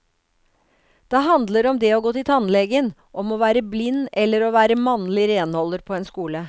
De handler om det å gå til tannlegen, om å være blind eller å være mannlig renholder på en skole.